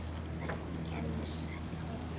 Hvernig gerðist þetta?